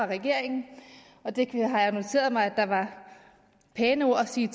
regeringen og det har jeg noteret mig at der var pæne ord at sige